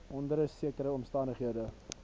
onder sekere omstandighede